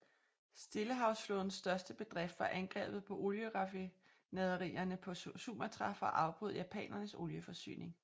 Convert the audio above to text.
Stillehavsflådens største bedrift var angrebet på olieraffinaderierne på Sumatra for at afbryde japanernes olieforsyning